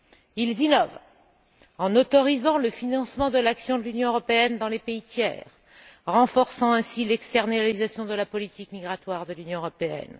Ils innovent en autorisant le financement de l'action de l'Union européenne dans les pays tiers, renforçant ainsi l'externalisation de la politique migratoire de l'Union européenne.